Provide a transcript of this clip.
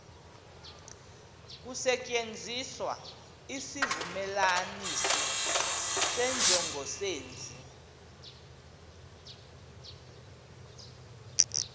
kusetyenziswa isivumelanisi senjongosenzi